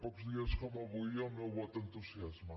pocs dies com avui el meu vot d’entusiasme